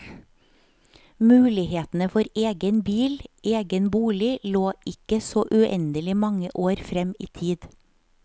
Mulighetene for egen bil, egen bolig lå ikke så uendelig mange år frem i tid.